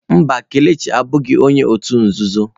Mba, Kelechi abụghị onye òtù nzuzo.